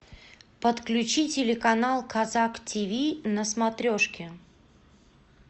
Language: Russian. подключи телеканал казак тиви на смотрешке